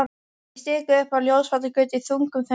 Ég stikaði upp á Ljósvallagötu í þungum þönkum.